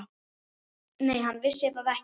Nei, hann vissi það ekki.